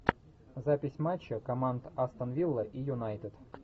запись матча команд астон вилла и юнайтед